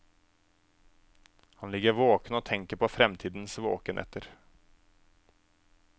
Han ligger våken og tenker på fremtidens våkenetter.